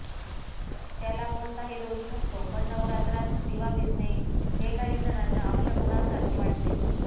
त्याला कोणताही दोष नसतो पण नवरात्रात दिवा विझणे हे काहीजणांना अपशकुनासारखे वाटते